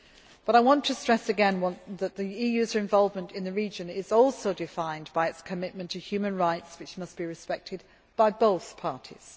in. But I want to stress again that the EU's involvement in the region is also defined by its commitment to human rights, which must be respected by both